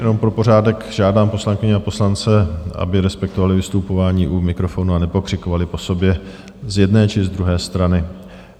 Jenom pro pořádek žádám poslankyně a poslance, aby respektovali vystupování u mikrofonu a nepokřikovali po sobě z jedné či z druhé strany.